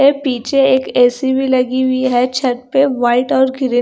पीछे एक ए_सी भी लगी हुई है छत पे वाइट और ग्रे --